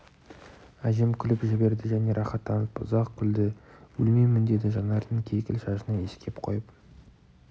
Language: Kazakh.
әжем күліп жіберді және рақаттанып ұзақ күлді өлмеймін деді жанардың кекіл шашынан иіскеп қойып